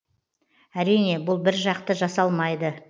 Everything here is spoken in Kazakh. әрине бұл біржақты жасалмайды